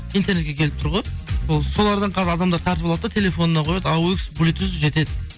интернетке келіп тұр ғой ол солардан қазір адамдар тартып алады да телефонына қояды блитуз жетеді